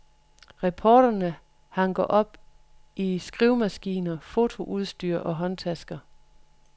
Reporterne hanker op i skrivemaskiner, fotoudstyr og håndtasker.